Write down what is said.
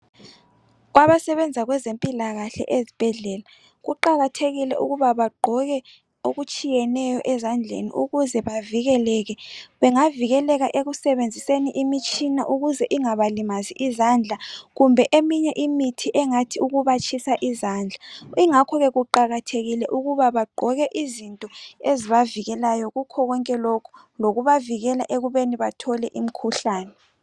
Kwabasebenza kwezempilakahle ezibhedlela kuqakathekile ukuba bagqoke okutshiyeneyo ezandleni ukuze bavikeleke. Bengavikeleka ekusebenziseni imitshina ukuze ingabalimazi izandla kumbe eminye imithi engathi ukubatshisa izandla. Ingakhonke kuqakathekile ukuba bagqoke izinto ezibavikelayo kukhonkonke lokhu lokuvikela ekubeni bathole imikhuhlane.